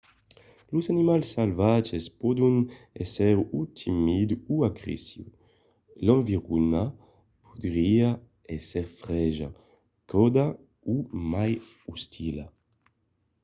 los animals salvatges pòdon èsser o timids o agressius. l’environa podriá èsser freja cauda o mai ostila